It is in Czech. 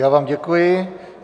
Já vám děkuji.